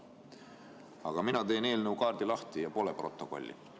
Aga mina teen eelnõu kaardi lahti ja protokolli pole.